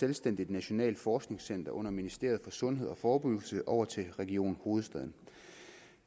selvstændigt nationalt forskningscenter under ministeriet for sundhed og forebyggelse over til region hovedstaden